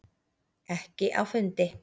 Ekki á fundi.